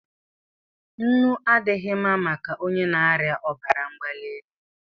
Nnu adịghị mma maka onye na-arịa obara mgbalielu